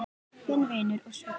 Þinn vinur og svili.